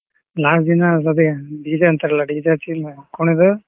ನಾಕ್ ದಿನಾ DJ ಅಂತಾರಲ್ಲ DJ ಹಚ್ಚಿ ಕುಣಿದು.